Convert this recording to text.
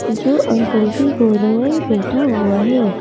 जो अंकल की गोद में बैठा हुआ है ।